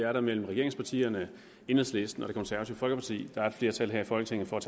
er der mellem regeringspartierne enhedslisten og det konservative folkeparti der er et flertal her i folketinget for at